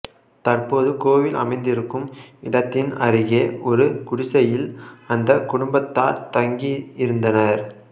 தற்போது கோவில் அமைந்திருக்கும் இடத்தின் அருகே ஒரு குடிசையில் அந்த குடும்பத்தார் தங்கி இருந்தனர்